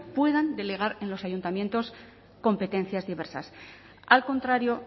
puedan delegar en los ayuntamientos competencias diversas al contrario